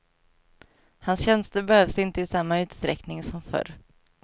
Hans tjänster behövs inte i samma utsträckning som förr.